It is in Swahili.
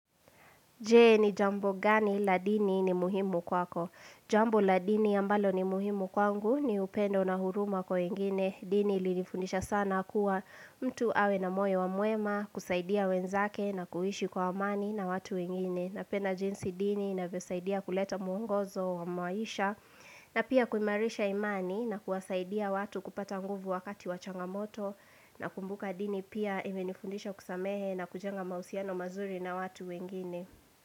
Jee ni jambo gani la dini ni muhimu kwako. Jambo la dini ambalo ni muhimu kwangu ni upendo na huruma kwa wengine. Dini li nifundisha sana kuwa mtu awe na moyo mwema kusaidia wenzake na kuishi kwa amani na watu ingine. Napenda jinsi dini inavosaidia kuleta muungozo wa maisha na pia kuimarisha imani na kuwasaidia watu kupata nguvu wakati wachanga moto na kumbuka dini pia ime nifundisha kusamehe na kujenga mausiano mazuri na watu wengine.